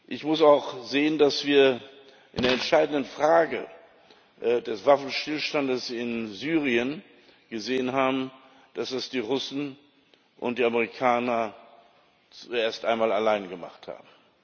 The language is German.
Ich muss auch sehen, dass wir in der entscheidenden Frage des Waffenstillstandes in Syrien gesehen haben, dass das die Russen und die Amerikaner erst einmal allein gemacht haben.